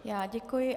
Já děkuji.